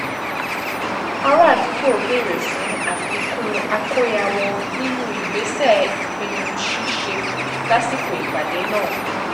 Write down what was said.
ara àdúgbò béèrè fún àfikún àkóyawọ̀ nínú ìgbésẹ̀ ìpinnu ṣíṣe lásìkò ìpàdé náà